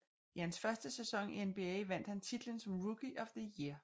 I hans første sæson i NBA vandt han titlen som Rookie of the year